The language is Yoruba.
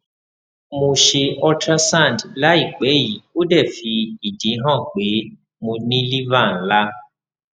mo se ultrasound layipe yi ode fi idi han pe mo ni liver nla